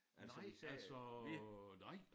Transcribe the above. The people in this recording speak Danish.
Nej altså nej